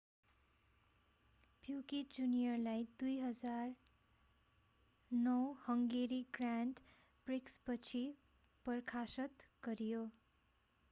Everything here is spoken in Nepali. प्युकेट जुनियरलाई 2009 हंगेरी ग्र्याण्ड प्रिक्सपछि बर्खास्त गरियो